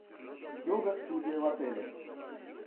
йога студия в отеле